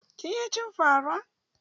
Kin iya cin fa ra?